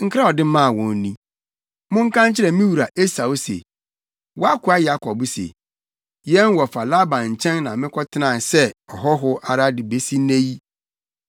Nkra a ɔde maa wɔn ni: “Monka nkyerɛ me wura Esau se, ‘Wʼakoa Yakob se, yɛn wɔfa Laban nkyɛn na makɔtena sɛ ɔhɔho ara de besi nnɛ yi.